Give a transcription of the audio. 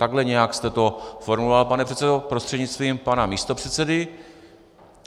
Takhle nějak jste to formuloval, pane předsedo prostřednictvím pana místopředsedy.